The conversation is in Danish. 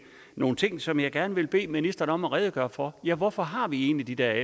nogle ting som jeg gerne vil bede ministeren om at redegøre for ja hvorfor har vi egentlig de der